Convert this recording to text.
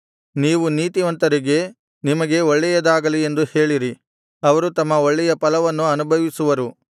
ನೀವು ನೀತಿವಂತರಿಗೆ ನಿಮಗೆ ಒಳ್ಳೆಯದಾಗಲಿ ಎಂದು ಹೇಳಿರಿ ಅವರು ತಮ್ಮ ಒಳ್ಳೆಯ ಫಲವನ್ನು ಅನುಭವಿಸುವರು